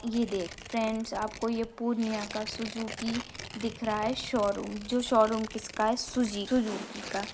ये दे फ्रेंड्स आपको यह पूर्णियां का सुजुकी दिख रहा है शोरूम जो शोरूम किसका है सुज सुजुकी का ।